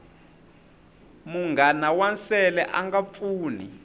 munghana wa nsele anga pfuni